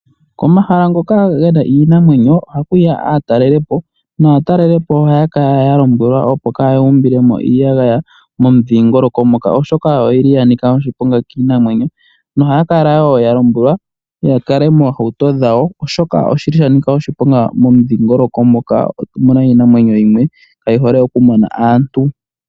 Komahala ngoka ge na iinamwenyo oha kuya aatalelipo naatalelipo ohaya kala ya lombwelwa opo kaya umbilemo iiyagaya momudhingoloko moka oshoka oyi li ya nika oshiponga kiinamwenyo nohaya kala wo ya lombwelwa ya kale moohauto dhawo oshoka oshi li sha nika oshiponga momudhingoloko moka omu na iinamwenyo yimwe kaayi hole okumona aantu.